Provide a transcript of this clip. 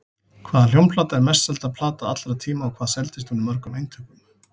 Hvaða hljómplata er mest selda plata allra tíma og hvað seldist hún í mörgum eintökum?